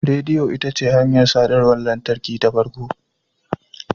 Rediyo ita ce hanyar sadarwar lantarki ta farko.